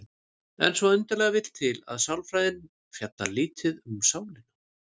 En svo undarlega vill til að sálfræðin fjallar lítið um sálina.